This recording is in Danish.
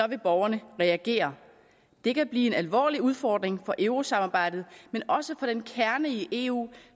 vil borgerne reagere det kan blive en alvorlig udfordring for eurosamarbejdet men også for den kerne i eu